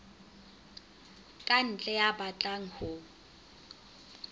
ka ntle ya batlang ho